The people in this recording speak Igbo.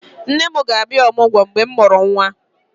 Nne m ga-abịa ọmụgwọ mgbe mụ mụrụ nwa